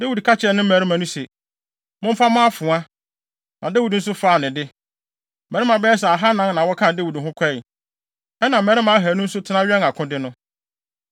Dawid ka kyerɛɛ ne mmarima no se, “Momfa mo afoa.” Na Dawid nso faa ne de. Mmarima bɛyɛ sɛ ahannan na wɔkaa Dawid ho kɔe, ɛnna mmarima ahannu nso tena wɛn akode no.